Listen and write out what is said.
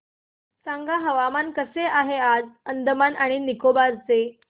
सांगा हवामान कसे आहे आज अंदमान आणि निकोबार चे